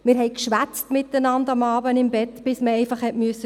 Wir schwatzen miteinander am Abend im Bett bis wir still sein mussten.